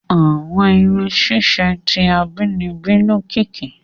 Àwọn irun ṣiṣe ti abínibí lokiki.